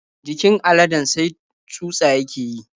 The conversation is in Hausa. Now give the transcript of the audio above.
Jikin aladen sai tsutsa yake yi.